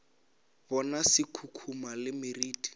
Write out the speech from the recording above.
bona se khukhuna le meriti